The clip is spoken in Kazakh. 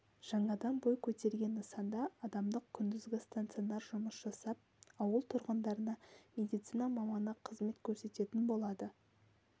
жаңадан бой көтерген нысанда адамдық күндізгі стационар жұмыс жасап ауыл тұрғындарына медицина маманы қызмет көрсететін болады